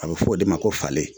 A bɛ fɔ o de ma ko fale